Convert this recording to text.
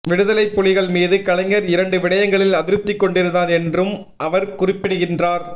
விடுதலைப் புலிகள் மீது கலைஞர் இரண்டு விடயங்களில் அதிருப்திகொண்டிருந்தார் என்றும் அவர் குறிப்பிடுகின்றார்